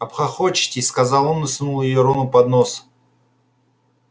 обхохочетесь сказал он и сунул её рону под нос